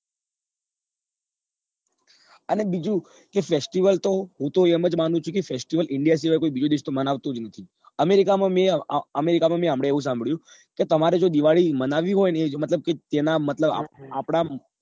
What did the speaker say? અને બીજું કે fastivel તો હું તો એમ જ માનું છું કે fastivelindia સિવાય કોઈ બીજો દેશ તો મનાવતો જ નથી america માં મેં america મેં હમણાં એવું સાંભળ્યું કે તમારે જો દિવાળી મનાવવી હોય ને એ જ મતલબ કે ત્યાં નાં